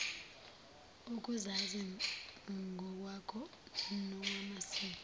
ukuzazi ngokwakho nokwamasiko